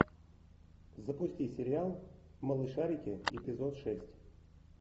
запусти сериал малышарики эпизод шесть